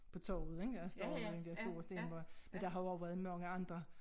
På torvet ik der står den der store sten hvor men der har jo også været mange andre